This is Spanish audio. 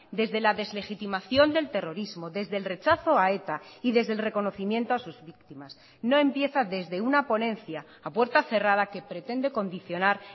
desde la deslegitimación del terrorismo desde el rechazo a eta y desde el reconocimiento a sus víctimas no empieza desde una ponencia a puerta cerrada que pretende condicionar